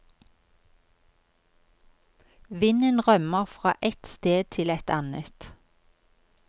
Vinden rømmer fra et sted til et annet.